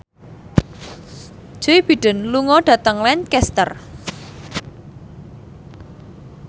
Joe Biden lunga dhateng Lancaster